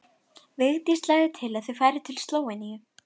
Hann teygði sig í skyrtuna sína og breiddi yfir höfuð.